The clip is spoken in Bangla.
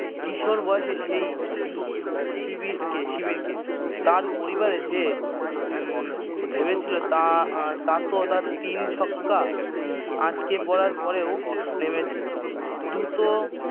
কিশোর বয়সে সেই শিবিরকে শিবিরকে তার পরিবারের যে উম ভেবেছিল তা আহ তা তো তা তিন ছক্কা আটকে পড়ার পরেও নেমেছে দুত